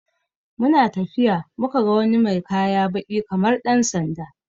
We saw someone with black cloth like police uniform, when we were walking.